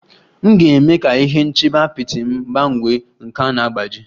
M ga-eme ka ihe nchebe apịtị m gbanwee, nke a na-agbaji